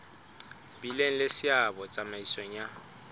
bileng le seabo tsamaisong ya